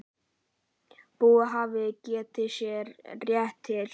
Búi hafði getið sér rétt til.